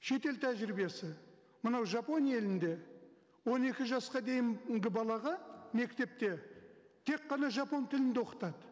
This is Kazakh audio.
шетел тәжірибесі мынау жапония елінде он екі жасқа дейінгі балаға мектепте тек қана жапон тілінде оқытады